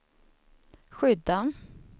skydda